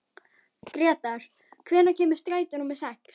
Gretar, hvenær kemur strætó númer sex?